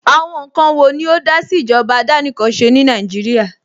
Àwọn ǹkan wo ni ó dásí ìjọba àdánìkanṣe ní Nàìjíríà?